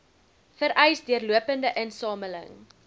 vereis deurlopende insameling